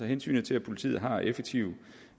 hensynet til at politiet har effektive